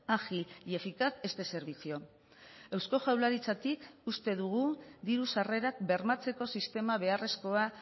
ágil y eficaz este servicio eusko jaurlaritzatik uste dugu diru sarrerak bermatzeko sistema beharrezkoa